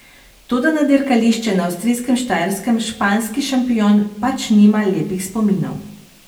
Toda na dirkališče na avstrijskem Štajerskem španski šampion pač nima lepih spominov.